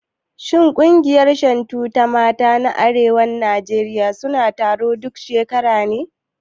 Shin ƙungiyar Shantu ta mata na arewacin Najeriya suna taro duk shekara ne?